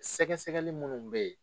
Sɛgɛ sɛgɛli munnu bɛ ye.